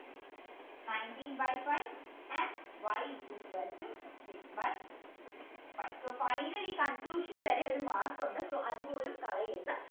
nineteen by five and y is equal to six by five so finally conclusion വരെ ഒരു mark ഉണ്ട് so അത് പോലും കളയരുത്